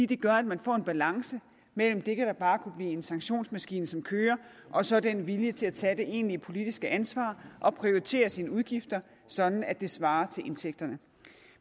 det gør at man får en balance mellem det der bare kunne blive en sanktionsmaskine som kører og så den vilje til at tage det egentlige politiske ansvar og prioritere sine udgifter sådan at det svarer til indtægterne